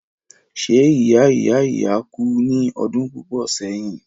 ṣé ìya ìya ìya kú ní ọdún púpọ̀ sẹ́yìn?